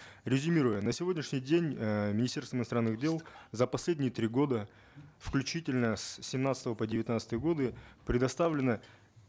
резюмируя на сегодняшний день э министерство иностранных дел за последние три года включительно с семнадцатого по девятнадцатые годы предоставлено